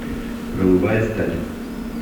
голубая сталь